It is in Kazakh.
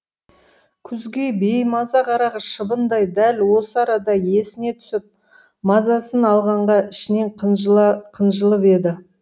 күзгі беймаза қара шыбындай дәл осы арада есіне түсіп мазасын алғанға ішінен қынжылып еді